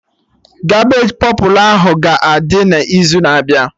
Cabbage pọpụlụ ahụ ga-adị n'izu na-abịa